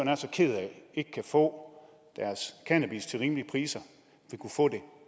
er så ked af ikke kan få deres cannabis til rimelige priser